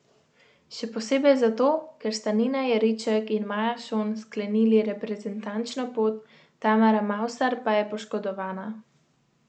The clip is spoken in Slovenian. Še posebej zato, ker sta Nina Jeriček in Maja Šon sklenili reprezentančno pot, Tamara Mavsar pa je poškodovana.